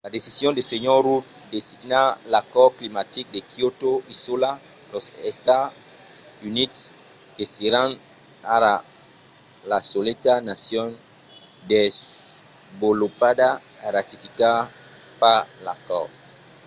la decision de sr. rudd de signar l'acòrd climatic de kyoto isòla los estats units que seràn ara la soleta nacion desvolopada a ratificar pas l'acòrd